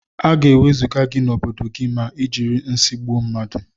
Aga ewezuga gi na obodo gi ma ijiri nsi gbụọ mmadu.